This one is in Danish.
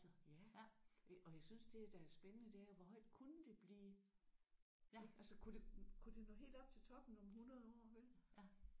Ja og jeg synes det der er spændende det er hvor højt kunne det blive ik? Altså kunne det kunne det nå helt op til toppen om 100 år vel?